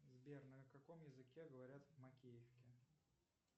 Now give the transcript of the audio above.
сбер на каком языке говорят в макеевке